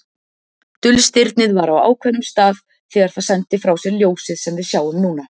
Dulstirnið var á ákveðnum stað þegar það sendi frá sér ljósið sem við sjáum núna.